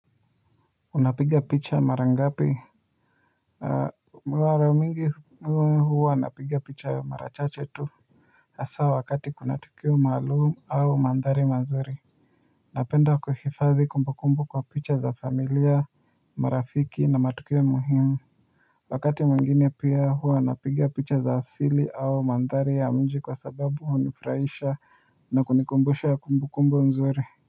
Unapigia picha mara ngapi mara mingi huwa napigia picha mara chache tu hasa wakati kuna tukio maalumu au mandhari mazuri napenda kuhifadhi kumbu kumbu kwa picha za familia mara fiki na matukio muhimu wakati mwingine pia huwa anapigia picha za asili au mandhari ya mji kwa sababu hunifrahisha na kunikumbusha ya kumbukumbu nzuri.